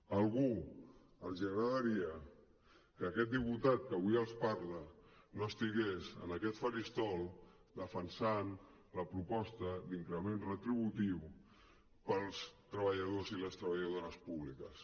a alguns els agradaria que aquest diputat que avui els parla no estigués en aquest faristol defensant la proposta d’increment retributiu per als treballadors i les treballadores públiques